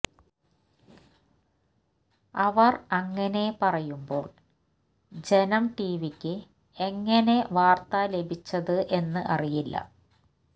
അവർ അങ്ങനെ പറയുമ്പോൾ ജനം ടിവിക്ക് എങ്ങനെ വാർത്ത ലഭിച്ചത് എന്ന് അറിയില്ല